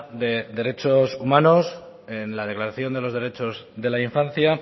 de derechos humanos en la declaración de los derechos de la infancia